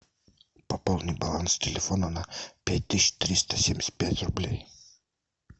пополни баланс телефона на пять тысяч триста семьдесят пять рублей